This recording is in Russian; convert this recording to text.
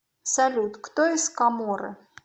салют кто из коморы